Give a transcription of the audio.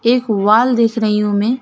एक वॉल देख रही हूं मैं।